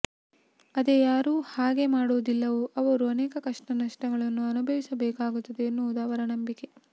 ಅದೇ ಯಾರು ಹಾಗೇ ಮಾಡೋದಿಲ್ಲವೊ ಅವರು ಅನೇಕ ಕಷ್ಟ ನಷ್ಟಗಳನ್ನು ಅನುಭವಿಸ ಬೇಕಾಗುತ್ತದೆ ಎನ್ನುವುದು ಅವರ ನಂಬಿಕೆ